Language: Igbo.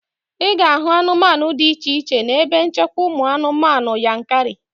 Ị na-ahụ anụmanụ dị iche iche n'ebe nchekwa ụmụ anụmanụ Yankari